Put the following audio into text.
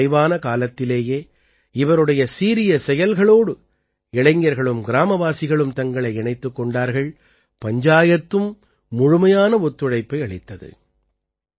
ஆனால் குறைவான காலத்திலேயே இவருடைய சீரிய செயல்களோடு இளைஞர்களும் கிராமவாசிகளும் தங்களை இணைத்துக் கொண்டார்கள் பஞ்சாயத்தும் முழுமையான ஒத்துழைப்பை அளித்தது